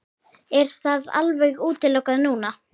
Er það alveg útilokað núna?